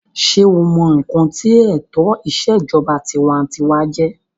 sé o mọ ǹkan tí ètò ìṣèjọba tinwatinwa jẹ́?